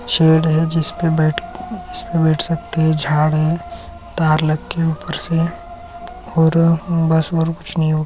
Shade है जिस्पे बेठ जिसपे बैठ सकते है झाड है तार लगेउपर से और बस और कूच नाही है।